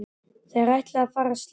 Þeir ætla að fara að slást!